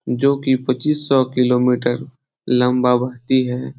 जोकि पचीस सो किलोमीटर लम्बा उड़ती है ।